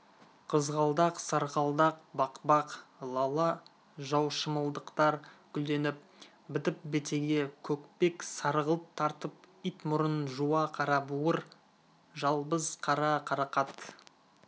қызғалдақ сарғалдақ бақбақ лала жаушымылдықтар гүлденіп бітіп бетеге көкпек сарғылт тартып ит мұрын жуа қарабауыр жалбыз қара қарақат